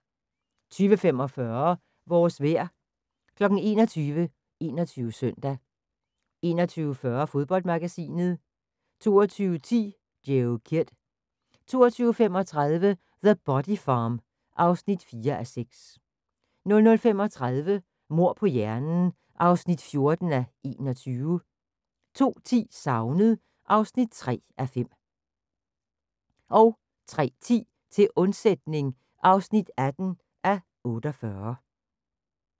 20:45: Vores vejr 21:00: 21 Søndag 21:40: Fodboldmagasinet 22:10: Joe Kidd 23:35: The Body Farm (4:6) 00:35: Mord på hjernen (14:21) 02:10: Savnet (3:5) 03:10: Til undsætning (18:48)